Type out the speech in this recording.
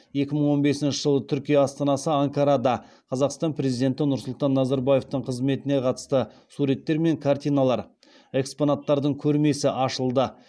екі мың он бесінші жылы түркия астанасы анкарада қазақстан президенті нұрсұлтан назарбаевтың қызметіне қатысты суреттер мен картиналар экспонаттардың көрмесі ашылды